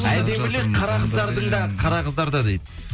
әдемілік қара қыздардың да қара қыздарда дейді